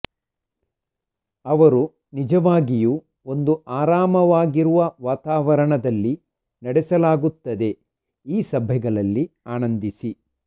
ಅವರು ನಿಜವಾಗಿಯೂ ಒಂದು ಆರಾಮವಾಗಿರುವ ವಾತಾವರಣದಲ್ಲಿ ನಡೆಸಲಾಗುತ್ತದೆ ಈ ಸಭೆಗಳಲ್ಲಿ ಆನಂದಿಸಿ